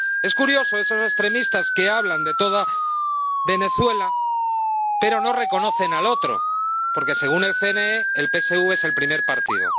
Es curioso, esos extremistas que hablan de toda Venezuela pero no reconocen al otro, porque, según el CNE, el PSV es el primer partido